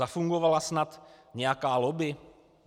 Zafungovala snad nějaká lobby?